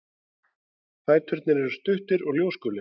Fæturnir eru stuttir og ljósgulir.